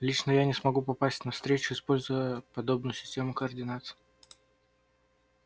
лично я не смогу попасть на встречу используя подобную систему координат